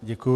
Děkuji.